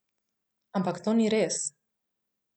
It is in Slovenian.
Ampak to ni res.